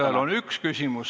Igaühel on ju üks küsimus.